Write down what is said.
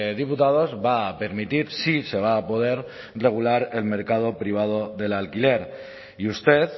diputados va a permitir sí se va a poder regular el mercado privado del alquiler y usted